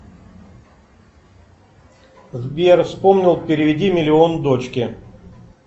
сбер вспомнил переведи миллион дочке